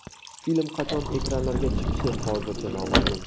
Film qachon ekranlarga chiqishi hozircha noma’lum.